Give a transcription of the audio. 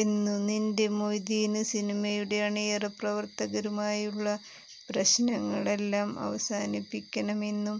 എന്നുനിന്റെ മൊയ്തീന് സിനിമയുടെ അണിയറ പ്രവര്ത്തകരുമായുള്ള പ്രശ്നങ്ങളെല്ലാം അവസാനിപ്പിക്കണമെന്നും